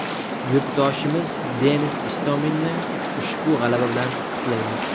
Yurtdoshimiz Denis Istominni ushbu g‘alaba bilan qutlaymiz!